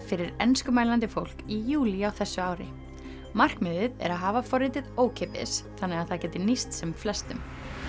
fyrir enskumælandi fólk í júlí á þessu ári markmiðið er að hafa forritið ókeypis þannig það geti nýst sem flestum